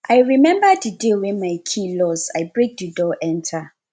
i rememba di day wey my key loss i break di door enta